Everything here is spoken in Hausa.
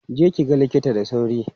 Je ki ga likita da sauri!